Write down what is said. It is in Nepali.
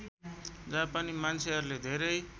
जापानी मान्छेहरूले धेरै